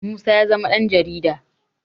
Musa ya zama ɗanJarida